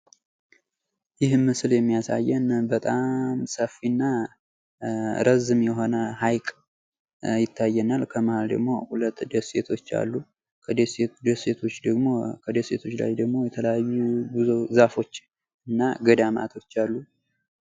ይህ ምስል የሚያሳየን በጣም ሰፊ እና ረዝም የሆነ ህይቅ ይታየናል። ከመሃል ደግሞ ሁለት ደሴቶች አሉ። ከደሴቶች ላይ ደግሞ የተለያዩ ዛፎች እና ገዳማቶች አሉ።